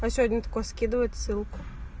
а сегодня такой скидывает ссылку